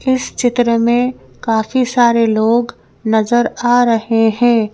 इस चित्र में काफी सारे लोग नजर आ रहे हैं।